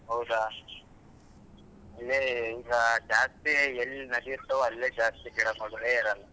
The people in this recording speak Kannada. ಹೌದ ಈಗ ಜಾಸ್ತಿ ಎಲ್ಲ್ ನಡಿಯುತ್ತೋ ಅಲ್ಲೇ ಜಾಸ್ತಿ ಗಿಡ ಮರಗಳ್ ಇರೋಲ್ಲ.